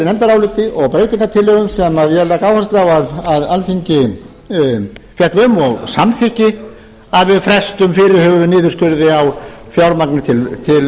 nefndaráliti og breytingartillögum sem ég legg áherslu á að alþingi fjalli um og samþykki að við frestum fyrirhuguðum niðurskurði á fjármagni